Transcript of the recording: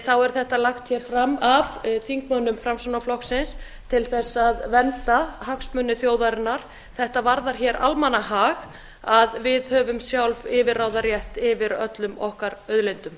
þá er þetta lagt fram af þingmönnum framsóknarflokksins til að vernda hagsmuni þjóðarinnar þetta varðar almannahag að við höfum sjálf yfirráðarétt yfir öllum okkar auðlindum